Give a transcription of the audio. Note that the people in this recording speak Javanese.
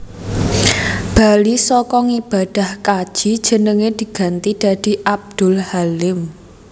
Bali saka ngibadah kaji jenenge diganti dadi Abdul Halim